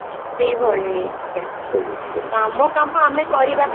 ସେଇ ଭଳି ଆମ କାମ ଆମେ କରିବା